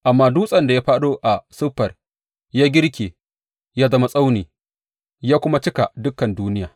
Amma dutsen da ya fāɗo a siffar ya girke ya zama tsauni ya kuma cika dukan duniya.